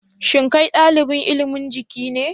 Shin kai dalibin ilimin Jiki ne